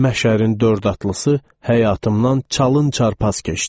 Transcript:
Məşərin dörd atlısı həyatımdan çalın-çarpaz keçdi.